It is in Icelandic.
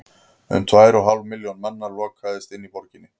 um tvær og hálf milljón manna lokaðist inni í borginni